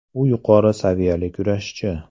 U yuqori saviyali kurashchi.